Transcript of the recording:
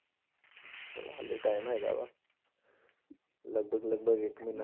ਚੱਲ ਹਾਲੇ time ਹੈਗਾ ਵਾ ਲਗਪਗ ਲਗਪਗ ਇੱਕ ਮਹੀਨਾ